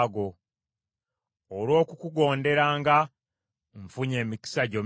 Olw’okukugonderanga nfunye emikisa gyo mingi.